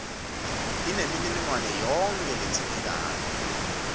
inemininingwane yonkhe ledzingekako